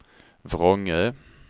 Vrångö